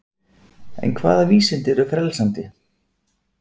En hvaða vísindi eru frelsandi?